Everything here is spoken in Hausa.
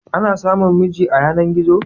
Ana samun miji a yanar-gizo?